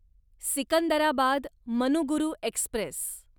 Secunderabad Manuguru Express